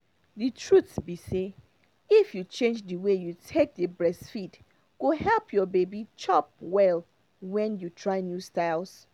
the trute be say if you change the way you take dey breastfeed go help your baby chop well when you try new styles